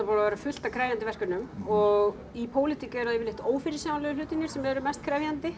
búið að vera fullt af krefjandi verkefnum og í pólitík eru það yfirleitt ófyrirsjáanlegu hlutirnir sem eru mest krefjandi